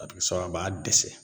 A bɛ kɛ sababu a b'a dɛsɛ